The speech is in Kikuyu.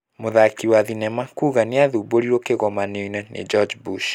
Mũthaki wa thenema kuga nĩathumbũrirwo kĩngomanio nĩ George Bush.